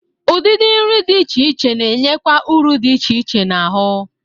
Udịdị nri dị iche iche na-enyekwa ụrụ dị iche iche n'ahụ.